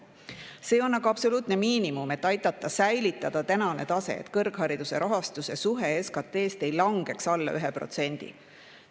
See on absoluutne miinimum, et aidata säilitada tänast taset, et kõrghariduse rahastuse suhe SKT-st ei langeks alla 1%.